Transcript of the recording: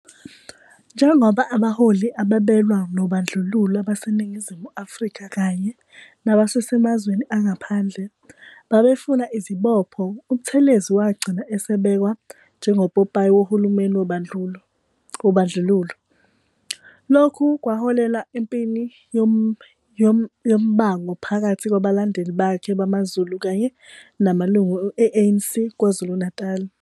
Njengoba abaholi ababelwa nobandlululo ababeseNingizimu Afrika kanye nababesemazweni angaphandle, babefuna izibopho, uButhelezi wagcina esebekwa njengopopayi wohulumeni wobandlulo. Lokhu kwaholela empini yomabango phakathi kwabalandeli bakhe bamaZulu kanye namalungu e-ANC KwaZulu-Natali.